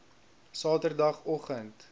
saterdagoggend